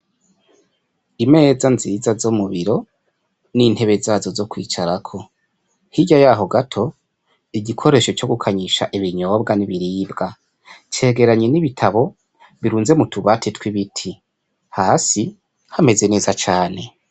Imeza nziza zo mu biro n'intebe zazo zo kwicarako, hirya yaho gato igikoresho co gukanyisha ibinyobwa n'ibiribwa, cegeranye n'ibitabo birunze mutubati tw'ibiti, hasi hameze neza cane.